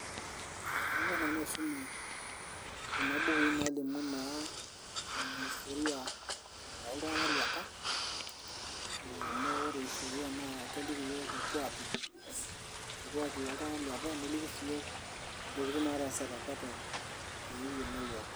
Ekanyor nanu aisuma kuna bukui nalimu naa, historia oltung'anak leepa, amu ore historia na keliki yiok irkuaki, irkuaki loltung'anak leepa, neliki si yiok intokiting' nataasate apa eton mikiino yiok.